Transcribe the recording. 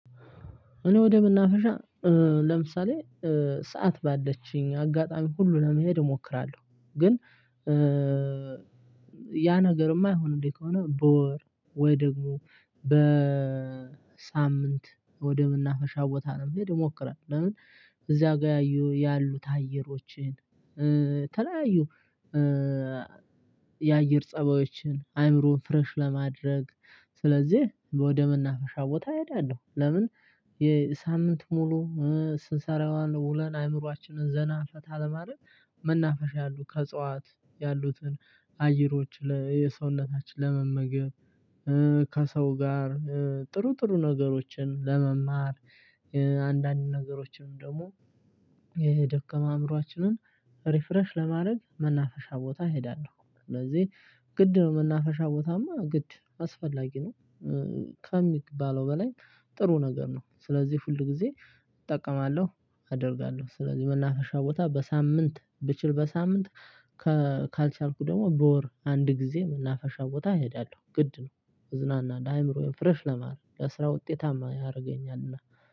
እኔ ወደመናፈሻ ለምሳሌ ሰዓት ባለችኝ አጋጣሚ ሁሉ ለመሄድ እሞክራለሁ። ግን ያ ነገርም ማይሆንልኝ ከሆነ በወር ወይ ደግሞ በሳምንት ወደ መናፈሻ ቦታ ለመሄድ እሞክራለሁ። ለምን? እዚያ ጋር ያሉት አየሮችን ተለያዩ የአየር ፀባዮችን አይምሮን ፍረሽ ለማድረግ ስለዚህ ወደመናፈሻ ቦታ እሄዳለሁ። ለምን? የሳምንት ሙሉ ስንሰራ የዋልን ውለን አእምሮአችንን ዘና ፈታ ለማድረግ መናፈሻ ያሉ ከእጽዋት ያሉትን አየሮች የሰውነታችን ለመመገብ ከሰው ጋር ጥሩ ጥሩ ነገሮችን ለመማር። አንዳንድ ነገሮችንም ደግሞ ይሄ የደከመ አእምሮአችንን ሪፍረሽ ለማድረግ መናፈሻ ቦታ እሄዳለሁ። ስለዚህ ግድ መናፈሻ ቦታማ ግድ አስፈላጊ ነው። ከሚባለው በላይ ጥሩ ነገር ነው። ስለዚህ ሁልጊዜ እጠቀማለሁ አደርጋለሁ ስለዚህ መናፈሻ ቦታ በሳምንት ብችል በሳምንት ካልቻልኩ ደግሞ በወር አንድ ጊዜ መናፈሻ ቦታ እሄዳለሁ። ግድ ነው እዝናናለሁ አእምሮዬ ፍሬሽ ለማረግ ለስራ ውጤታማ ያደርገኛልና